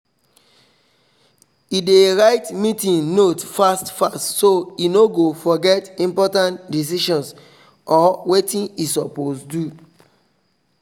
e dey write meeting note fast fast so e no go forget important decisions or watin e suppose do